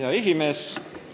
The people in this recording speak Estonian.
Hea esimees!